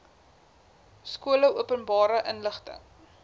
skole openbare inligting